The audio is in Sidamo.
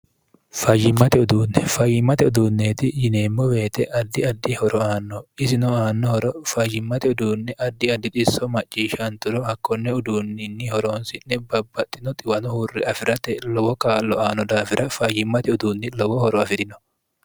fayyimmate uduunni fayyimmate uduunneeti yineemmo beete addi addi horo aanno isino aannohoro fayyimmate uduunni addi addi xisso macciishshanturo hakkonne uduunninni horoonsi'ne babbaxxino xiwano huurri afi'rate lowo kaallo aano daafira fayyimmate uduunni lowo horo afi'rino